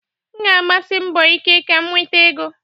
M ga-agbasi mbọ ike ka m nweta ego.